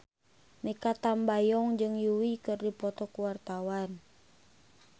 Mikha Tambayong jeung Yui keur dipoto ku wartawan